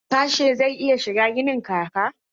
Harsashe zai iya shiga ginin laka?